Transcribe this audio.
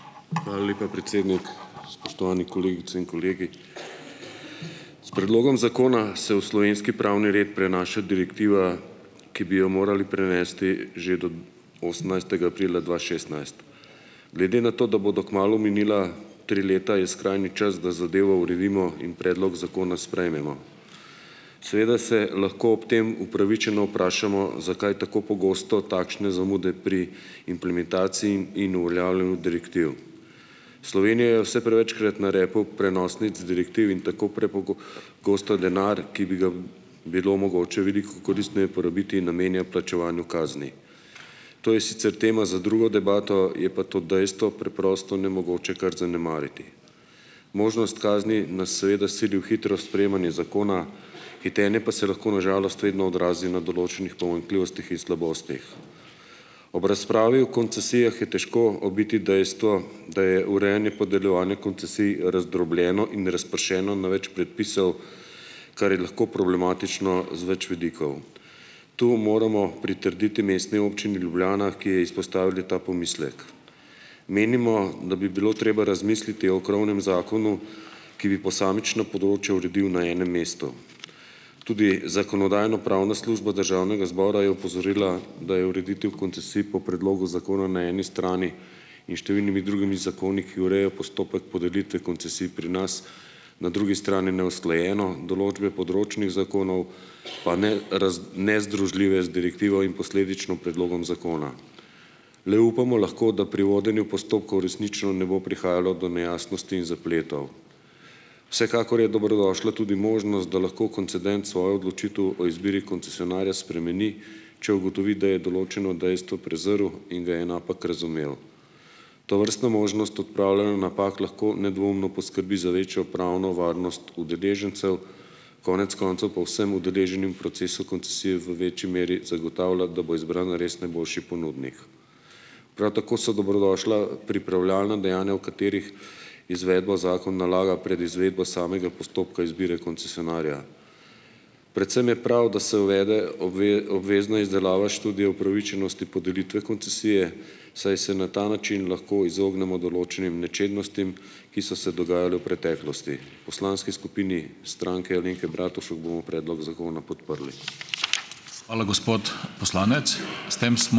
Hvala lepa, predsednik. Spoštovani kolegice in kolegi! S predlogom zakona se v slovenski pravni red prenaša direktiva, ki bi jo morali prenesti že do osemnajstega aprila dva šestnajst. Glede na to, da bodo kmalu minila tri leta, je skrajni čas, da zadevo uredimo in predlog zakona sprejmemo. Seveda se lahko ob tem upravičeno vprašamo, zakaj tako pogosto takšne zamude pri implementaciji in uveljavljanju direktiv. Slovenija je vse prevečkrat na repu prenosnic direktiv in tako gosto denar, ki bi ga bilo mogoče veliko koristneje porabiti, namenja plačevanju kazni. To je sicer tema za drugo debato, je pa to dejstvo preprosto nemogoče kar zanemariti. Možnost kazni nas seveda sili v hitro sprejemanje zakona, hitenje pa se lahko na žalost vedno odrazi na določenih pomanjkljivostih in slabostih. Ob razpravi o koncesijah je težko obiti dejstvo, da je urejanje, podeljevanje koncesij razdrobljeno in razpršeno na več predpisov, kar je lahko problematično z več vidikov. Tu moramo pritrditi Mestni občini Ljubljana, ki je izpostavila ta pomislek. Menimo, da bi bilo treba razmisliti o krovnem zakonu, ki bi posamična področja uredil na enem mestu. Tudi Zakonodajno-pravna služba Državnega zbora je opozorila, da je ureditev koncesij po predlogu zakona na eni strani in številnimi drugimi zakoni, ki urejajo postopek podelitve koncesij pri nas, na drugi strani neusklajeno, določbe področnih zakonov pa ne ne združljive z direktivo in posledično predlogom zakona. Le upamo lahko, da pri vodenju postopkov resnično ne bo prihajalo do nejasnosti in zapletov. Vsekakor je dobrodošla tudi možnost, da lahko koncedent svojo odločitev o izbiri koncesionarja spremeni, če ugotovi, da je določeno dejstvo prezrl in ga je napak razumel. Tovrstna možnost odpravljanja napak lahko nedvoumno poskrbi za večjo pravno varnost udeležencev, konec koncev pa vsem udeleženim v procesu koncesije v večji meri zagotavlja, da bo izbran res najboljši ponudnik. Prav tako so dobrodošla pripravljalna dejanja, v katerih izvedbo zakon nalaga pred izvedbo samega postopka izbire koncesionarja. Predvsem je prav, da se uvede obvezna izdelava študije upravičenosti podelitve koncesije, saj se na ta način lahko izognemo določenim nečednostim, ki so se dogajale v preteklosti. Poslanski skupini Stranke Alenke Bratušek bomo predlog zakona podprli.